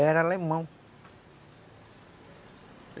Era alemão.